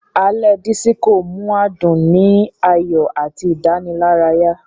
Alé Disiko mú adún ni ayọ àti Idanilaraya.